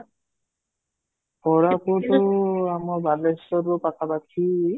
କୋରାପୁଟ ଆମ ବାଲେଶ୍ୱରରୁ ପାଖ ପାଖି